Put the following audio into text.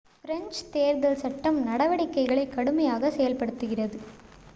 French தேர்தல் சட்டம் நடவடிக்கைகளை கடுமையாக செயல்படுத்துகிறது